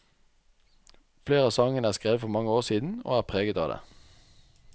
Flere av sangene er skrevet for mange år siden, og er preget av det.